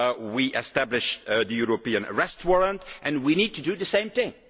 We established the European Arrest Warrant and we need to do the same thing.